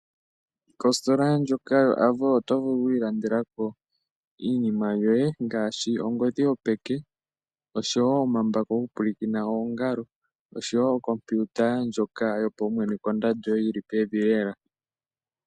Kositola ndjoka yoAvo oto vulu oku ilandelako iinima yoye ngaashi ongodhi yopeke, oshowo omambako gokupwilikina oongalo, oshowo okompiuta yopaumwene kondando yili pevi elela.